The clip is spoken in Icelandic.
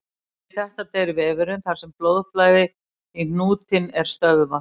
Við þetta deyr vefurinn þar sem blóðflæði í hnútinn er stöðvað.